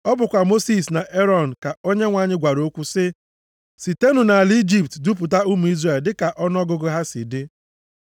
Ọ bụkwa Mosis na Erọn ka Onyenwe anyị gwara okwu sị, “Sitenụ nʼala Ijipt dupụta ụmụ Izrel dịka ọnụọgụgụ ha si dị.”